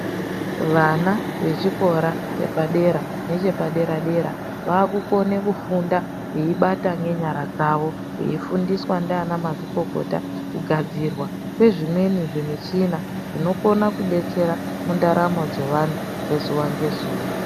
Vana vechikora chepadera nechepadera-dera, vaakukone kufunda veibata ngenyara dzavo, veifundiswa ndianamazvikokota kugadzirwa kwezvimweni zvimichina zvinokona kudetsera ,mundaramo dzemuntu dzezuwa ngezuwa.